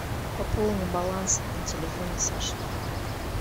пополни баланс на телефоне саши